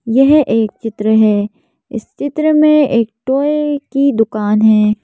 यह एक चित्र है इस चित्र में एक टॉय की दुकान है।